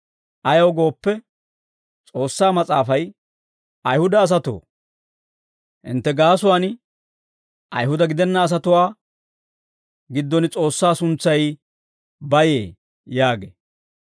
Ayaw gooppe, S'oossaa Mas'aafay, «Ayihuda asatoo, hintte gaasuwaan Ayihuda gidenna asatuwaa giddon S'oossaa suntsay bayee» yaagee.